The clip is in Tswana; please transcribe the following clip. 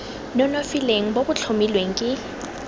nonofileng bo bo tlhomilweng ke